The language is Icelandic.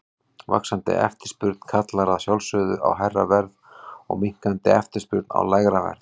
Vaxandi eftirspurn kallar að sjálfsögðu á hærra verð og minnkandi eftirspurn á lægra verð.